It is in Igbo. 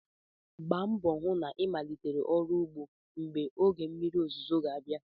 Gbaa mbọ hụ na ịmalitere ọrụ ugbo mgbe oge mmiri ozuzo ga-abịa.